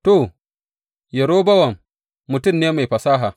To, Yerobowam mutum ne mai fasaha.